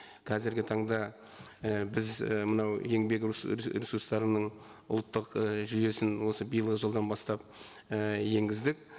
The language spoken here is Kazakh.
қазіргі таңда і біз і мынау еңбек ресурстарының ұлттық і жүйесін осы биылғы жылдан бастап і енгіздік